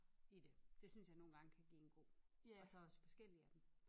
I det. Det synes jge nogen gange kan give en ro og så også forskellige af dem